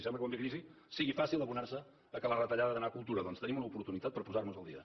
sembla que quan ve crisi sigui fàcil abonar se que la retallada ha d’anar a cultura doncs tenim una oportunitat per posar nos al dia